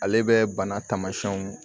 Ale bɛ bana taamasiyɛnw